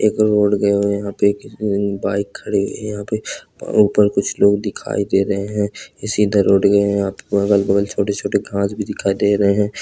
एक रोड गयो है यहाँ पे एक बाइक खड़ी है यहाँ पे ऊपर कुछ लोग दिखाई दे रहे हैं ये सीधा रोड गया है यहाँ पे अगल-बगल छोटे-छोटे घास भी दिखाई दे रहे हैं।